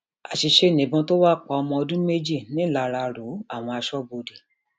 àṣìṣe nìbọn wa tó pa ọmọ ọdún méjì nìlararó àwọn aṣọbodè